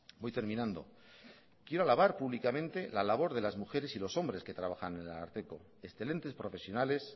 voy terminando quiero alabar públicamente la labor de las mujeres y los hombres que trabajan en el ararteko excelentes profesionales